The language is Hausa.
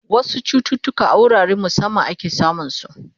wasu chututuka a wurare musamman ake samun su